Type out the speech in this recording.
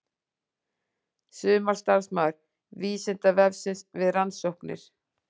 Sumarstarfsmaður Vísindavefsins við rannsóknir.